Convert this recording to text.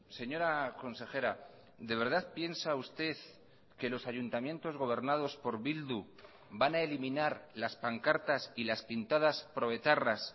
señora consejera de verdad piensa usted que los ayuntamientos gobernados por bildu van a eliminar las pancartas y las pintadas pro etarras